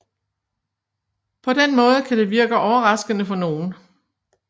På den måde kan det virke overraskende for nogen